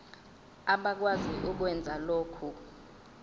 abakwazi ukwenza lokhu